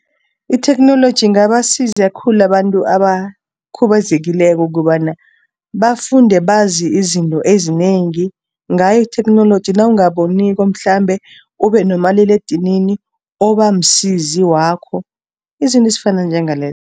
Itheknoloji ingabasiza khulu abantu abakhubazekileko, kobana bafunde bazi izinto ezinengi, ngayo itheknoloji. Nawungaboniko mhlambe, ube nomaliledinini obamsizi wakho, izinto ezifana njengalezo.